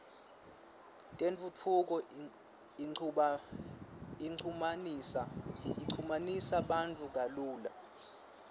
tentfutfuko ichumanisa bantfu kalula